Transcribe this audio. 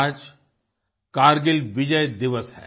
आज कारगिल विजय दिवस है